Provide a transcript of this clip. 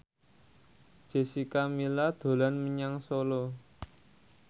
Jessica Milla dolan menyang Solo